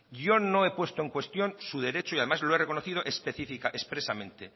yo no he puesto en cuestión su derecho y además lo he reconocido expresamente